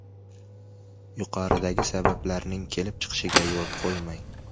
Yuqoridagi sabablarning kelib chiqishiga yo‘l qo‘ymang.